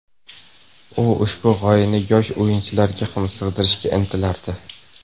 U ushbu g‘oyani yosh o‘yinchilarga ham singdirishga intilardi.